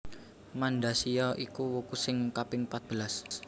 Mandasiya iku wuku sing kaping patbelas